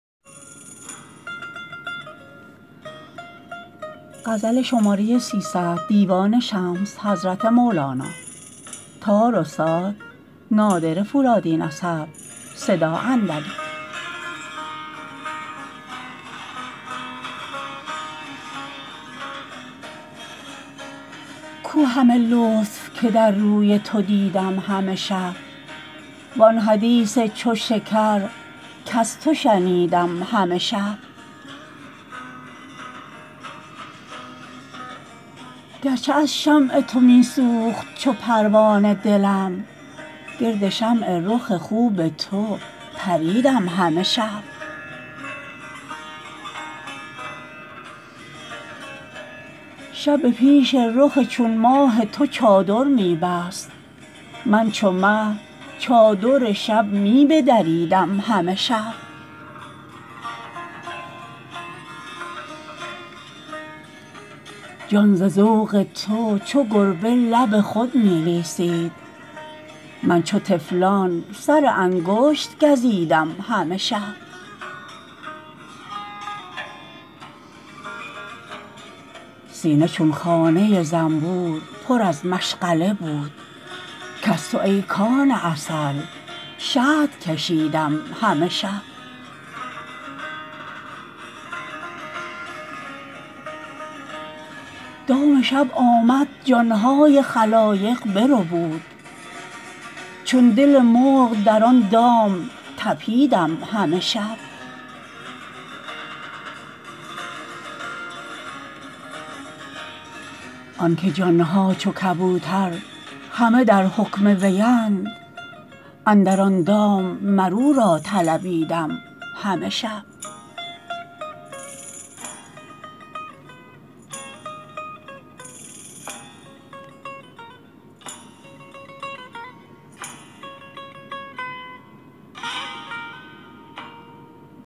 کو همه لطف که در روی تو دیدم همه شب وآن حدیث چو شکر کز تو شنیدم همه شب گرچه از شمع تو می سوخت چو پروانه دلم گرد شمع رخ خوب تو پریدم همه شب شب به پیش رخ چون ماه تو چادر می بست من چو مه چادر شب می بدریدم همه شب جان ز ذوق تو چو گربه لب خود می لیسید من چو طفلان سر انگشت گزیدم همه شب سینه چون خانه زنبور پر از مشغله بود کز تو ای کان عسل شهد کشیدم همه شب دام شب آمد جان های خلایق بربود چون دل مرغ در آن دام طپیدم همه شب آنکه جان ها چو کبوتر همه در حکم وی اند اندر آن دام مر او را طلبیدم همه شب